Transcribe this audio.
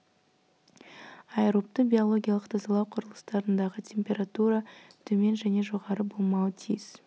аэробты биологиялық тазалау құрылыстарындағы температура төмен және жоғары болмауы тиіс